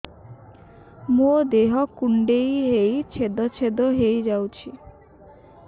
ମୋ ଦେହ କୁଣ୍ଡେଇ ହେଇ ଛେଦ ଛେଦ ହେଇ ଯାଉଛି